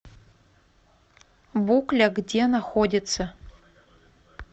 букля где находится